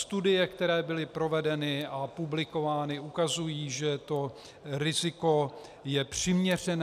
Studie, které byly provedeny a publikovány, ukazují, že to riziko je přiměřené.